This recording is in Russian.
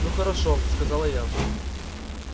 ну хорошо сказала я